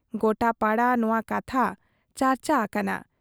ᱜᱚᱴᱟ ᱯᱟᱲᱟ ᱱᱚᱶᱟ ᱠᱟᱛᱷᱟ ᱪᱟᱨᱪᱟ ᱟᱠᱟᱱᱟ ᱾